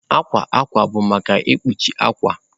Akwa akwa bụ maka ikpuchi akwa